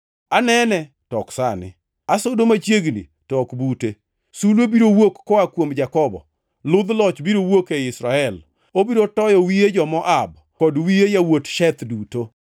“Anene, to ok sani; asudo machiegni, to ok bute. Sulwe biro wuok koa kuom Jakobo; ludh loch biro wuok ei Israel. Obiro toyo wiye jo-Moab, kod wiye yawuot Sheth + 24:17 Sheth tiende ni joma sungore. duto.